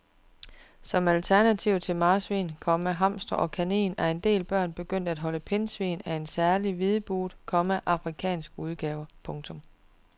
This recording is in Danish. Som alternativ til marsvin, komma hamster og kanin er en del børn begyndt at holde pindsvin af en særlig hvidbuget, komma afrikansk udgave. punktum